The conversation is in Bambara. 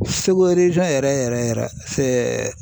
yɛrɛ yɛrɛ yɛrɛ fɛ